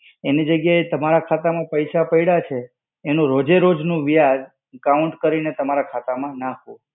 એની જગ્યાએ તમારા ખાતા માં પૈસા પડ્યા છે, એનું રોજે-રોજ નું વ્યાજ count કરીને તમારા ખાતા માં નાખવું.